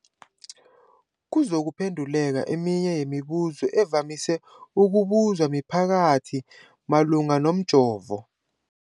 kuzokuphe nduleka eminye yemibu zo evamise ukubuzwa mphakathi malungana nomjovo.